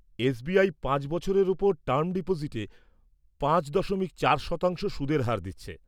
SBI পাঁচ বছরের ওপর টাইম ডিপোজিটে পাঁচ দশমিক চার শতাংশ সুদের হার দিচ্ছে।